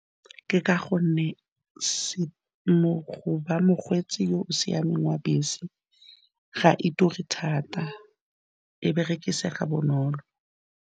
Ke ka gonne mo go ba mokgweetsi o o siameng wa bese, ga e turi thata, e berekisega bonolo.